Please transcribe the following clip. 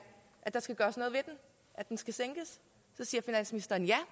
der skal gøres noget ved den at den skal sænkes siger finansministeren ja